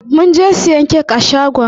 Mun je siyan kek a shagon.